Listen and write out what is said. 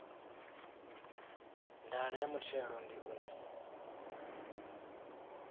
ndaela ya muthelo ndi u